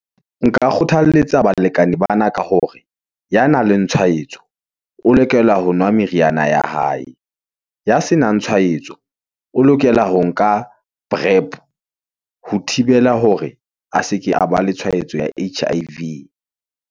Nka kgothaletsa balekane bana ka hore ya nang le tshwaetso, o lokela ho nwa meriana ya hae, ya se nang tshwaetso, o lokela ho nka prep , ho thibela hore, a se ke a ba le tshwaetso ya H_I_V.